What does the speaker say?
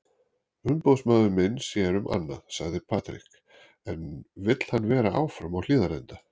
Umboðsmaður minn sér um annað, sagði Patrick en vill hann vera áfram á Hlíðarenda?